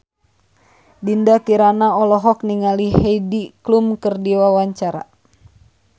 Dinda Kirana olohok ningali Heidi Klum keur diwawancara